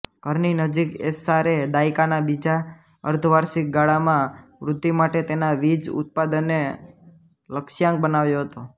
ઘરની નજીક એસ્સારે દાયકાના બીજા અર્ધવાર્ષિક ગાળામાં વૃદ્ધિ માટે તેના વીજ ઉત્પાદનને લક્ષ્યાંક બનાવ્યો હતો